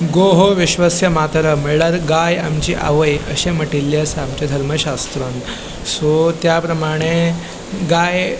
गो हो विश्वस्य मातरम म्हळ्यार गाय आमची आवय अशे मटीले आसा आमच्या धर्मशास्रान सो त्या प्रमाणे गाय --